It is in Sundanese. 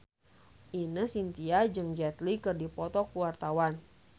Ine Shintya jeung Jet Li keur dipoto ku wartawan